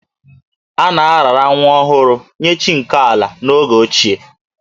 A na-arara nwa ọhụrụ nye chi nke ala n'oge ochie